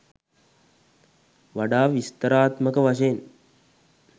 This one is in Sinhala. වඩා විස්තරාත්මක වශයෙන්